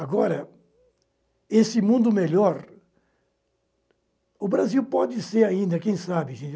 Agora, esse mundo melhor, o Brasil pode ser ainda, quem sabe, gente?